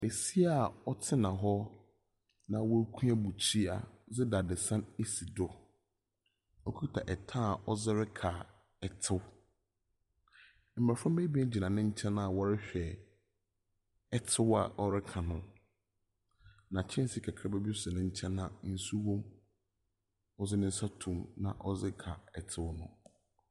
Besia a ɔtsena hɔ, na wakua bukyia dze dadzesɛn asi do, okuta ɛta a ɔdze reka ɛtsew. Mmɔframma ebien gyina n'enkyɛn a wɔrehwɛ ɛtsew a ɔreka no. Na kyɛnse kakraba si n'enkyɛn a nsu wom, ɔdze nensa tom na ɔdze ka ɛtsew no.